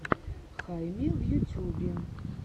хайми в ютюбе